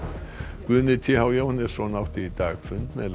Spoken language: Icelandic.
Guðni t h Jóhannesson átti í dag fund með